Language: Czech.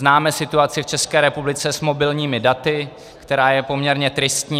Známe situaci v České republice s mobilními daty, která je poměrně tristní.